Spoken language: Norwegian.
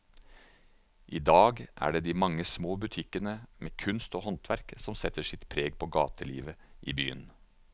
I dag er det de mange små butikkene med kunst og håndverk som setter sitt preg på gatelivet i byen.